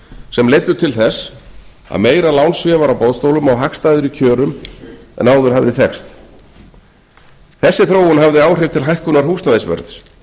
sem leiddu til þess að meira lánsfé var á boðstólum á hagstæðari kjörum en áður hafði þekkst þessi þróun hafði áhrif til hækkunar húsnæðisverðs